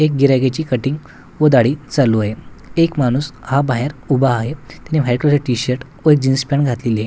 एक गेराहाईकची कटिंग व दाढी चालू आहे एक माणूस हा बाहेर उभा आहे त्याने व्हाईट कलरचा टी_शर्ट व जीन्स पॅन्ट घातलेली आहे.